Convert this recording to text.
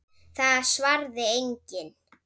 Það svaraði enginn.